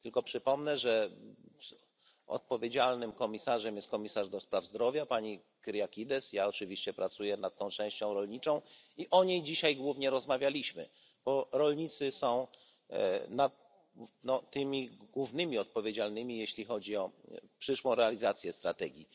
Tylko przypomnę, że odpowiedzialnym komisarzem jest komisarz do spraw zdrowia Pani Kyriakides. Ja oczywiście pracuję nad tą częścią rolniczą i o niej dzisiaj głównie rozmawialiśmy, bo rolnicy są tymi głównymi odpowiedzialnymi, jeśli chodzi o przyszłą realizację strategii.